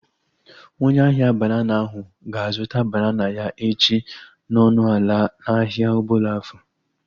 Onye ahia banana ahu ga-azụta banana ya echi n'ọnụ ala n'ahia Obollo-Afor